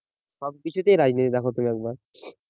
সব কিছুতেই রাজনীতি দেখো তুমি একবার